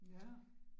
Ja